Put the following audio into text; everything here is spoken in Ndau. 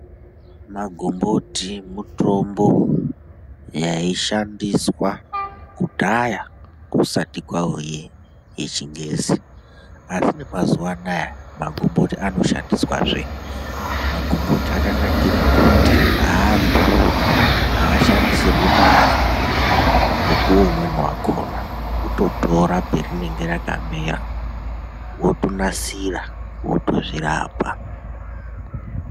Magomboti mutombo waishandiswa kudhaya kusati kwauye yechingezi. Mazuwa anaa magomboti anoshandiswazve. Magomboti akanakire kuti aadhuri, aashandisirwi mari, mukuwo umweni wakhona kutotora parinenge rakamera woritora worinasira wotozvirapa.